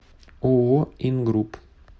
ооо ингрупп